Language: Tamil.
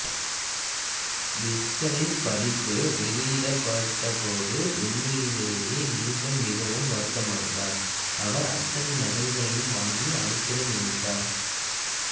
விஸ்டனின் பதிப்பு வெளியிடப்பட்டப் போது உண்மையிலயே நியுட்டன் மிகவும் வருத்தமடைந்தாா் அவா் அத்தனை நகல்களையும் வாங்கி அழித்திட நினைத்தாா்